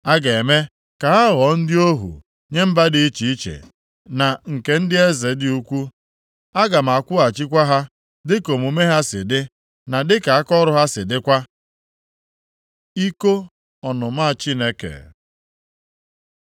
A ga-eme ka ha ghọọ ndị ohu nye mba dị iche iche na nke ndị eze dị ukwuu. Aga m akwụghachikwa ha dịka omume ha si dị, na dịka akaọrụ ha si dịkwa.” Iko ọnụma Chineke